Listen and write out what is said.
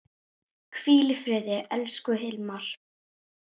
Hvíl í friði, elsku Hilmar.